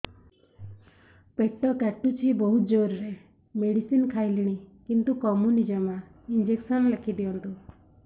ପେଟ କାଟୁଛି ବହୁତ ଜୋରରେ ମେଡିସିନ ଖାଇଲିଣି କିନ୍ତୁ କମୁନି ଜମା ଇଂଜେକସନ ଲେଖିଦିଅନ୍ତୁ